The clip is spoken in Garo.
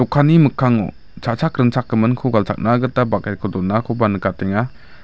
kanni mikkango cha·chak ringchakgiminko galchakna gita baket ko donakoba nikatenga.